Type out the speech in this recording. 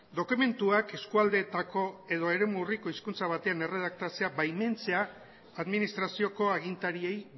dokumentuak eskualdeetako edo eremu urriko hizkuntza batean erredaktatzea baimentzea administrazioko agintariei